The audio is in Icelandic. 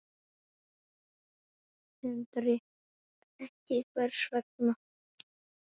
Sindri: Ekki, hvers vegna?